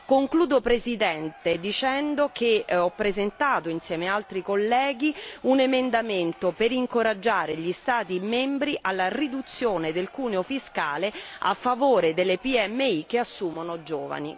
Nel concludere, signor Presidente, comunico di aver presentato, insieme ad altri colleghi, un emendamento per incoraggiare gli Stati membri alla riduzione del cuneo fiscale a favore delle PMI che assumono giovani.